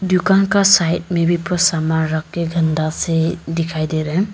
दुकान का साइड में भी पूरा सामान रख गंदा से दिखाई दे रहा है।